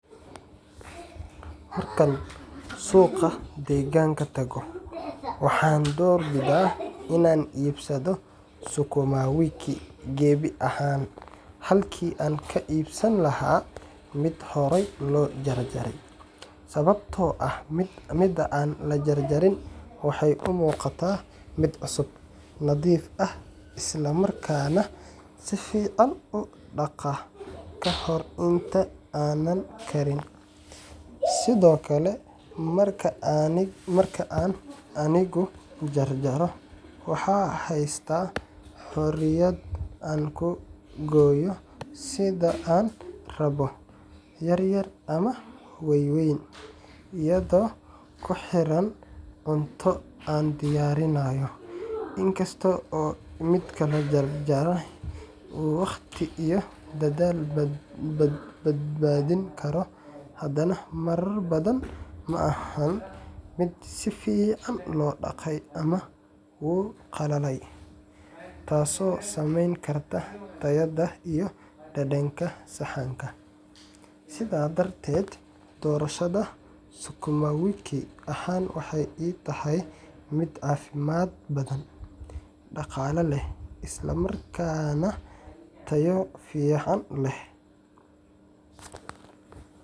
Markaan suuqa deegaanka tago, waxaan doorbidaa inaan iibsado sukuma wiki gebi ahaan halkii aan ka iibsan lahaa mid horay loo jarjaray, sababtoo ah midda aan la jarjarin waxay u muuqataa mid cusub, nadiif ah, isla markaana si fiican baan u dhaqaa ka hor inta aanan karin. Sidoo kale, marka aan anigu jarjaro, waxaan haystaa xorriyad aan ku gooyo sida aan rabbo yaryar ama waaweyn biyadoo ku xiran cunto aan diyaarinayo. Inkasta oo midka la jarjaray uu waqti iyo dadaal badbaadin karo, haddana marar badan ma aha mid si fiican loo dhaqay ama wuu qalalay, taasoo saameyn karta tayada iyo dhadhanka saxanka. Sidaas darteed, doorashada sukuma wiki gebi ahaan waxay ii tahay mid caafimaad badan, dhaqaale leh, isla markaana tayo fiican leh.